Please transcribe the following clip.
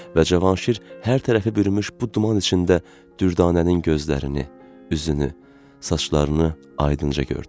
Və Cavanşir hər tərəfi bürümüş bu duman içində Düldanənin gözlərini, üzünü, saçlarını aydınca gördü.